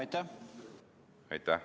Aitäh!